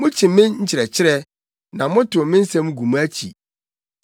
Mukyi me nkyerɛkyerɛ, na motow me nsɛm gu mo akyi.